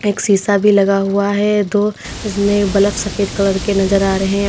एक शीशा भी लगा हुआ है दो इसमें बल्ब सफेद कलर के नजर आ रहे हैं।